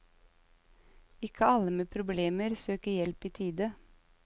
Ikke alle med problemer søker hjelp i tide.